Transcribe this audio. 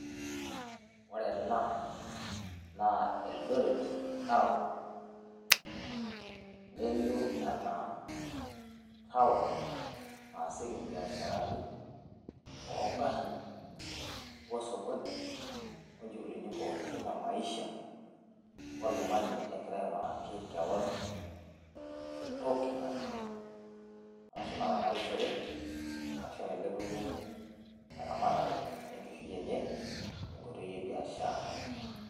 woore enaa naa eldoret taon nelioo enaa taon nasieki imbiasharani ong'arin osokoni ,onjukulini pookin emaisha oltungani egira ainguraki kewon entoki nanya arashu enaramatishore arashu enailepunyie enkishui enye tenkoitoi ebiashara